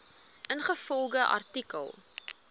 ingevolge artikel